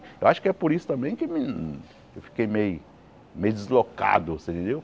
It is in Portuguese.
Eu acho que é por isso também que hum eu fiquei meio meio deslocado, você entendeu?